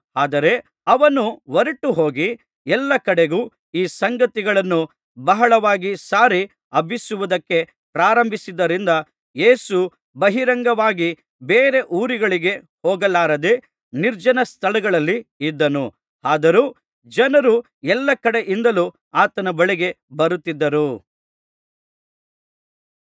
ಆದರೆ ಅವನು ಹೊರಟುಹೋಗಿ ಎಲ್ಲಾ ಕಡೆಗೂ ಈ ಸಂಗತಿಯನ್ನು ಬಹಳವಾಗಿ ಸಾರಿ ಹಬ್ಬಿಸುವುದಕ್ಕೆ ಪ್ರಾರಂಭಿಸಿದ್ದರಿಂದ ಯೇಸು ಬಹಿರಂಗವಾಗಿ ಬೇರೆ ಊರುಗಳಿಗೆ ಹೋಗಲಾರದೆ ನಿರ್ಜನ ಸ್ಥಳಗಳಲ್ಲಿ ಇದ್ದನು ಆದರೂ ಜನರು ಎಲ್ಲಾ ಕಡೆಯಿಂದಲೂ ಆತನ ಬಳಿಗೆ ಬರುತ್ತಿದ್ದರು